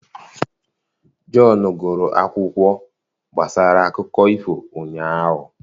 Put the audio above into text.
john gụrụ akwụkwọ gbasara akụkọ ifo ụnyaahụ.